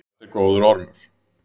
Þetta er góður ormur.